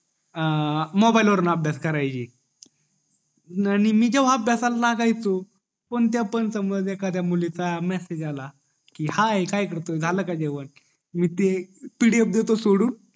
अं mobile वरण अभ्यास करायला येई आणि मी जेव्हा अभ्यासाला लागायचो कोणत्या पण समज एखादया मुलीचा मेसेज आला कि हाई काय करतो झालं का जेवण मग मी ती pdf दायचो सोडून